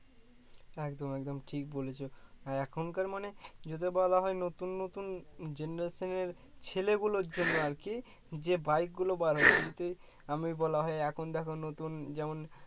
একদম একদম ঠিক বলেছো আর এখনকার মানে যদি বলা হয় নতুন নতুন generation এর ছেলে গুলোর জন্য আর কি যে bike গুলো বার আমি বলা হয় এখন দেখো নতুন যেমন